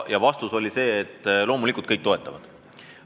Ja vastus oli, et loomulikult kõik toetavad seda lahendust.